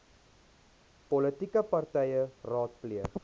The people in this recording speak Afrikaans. politieke partye raadpleeg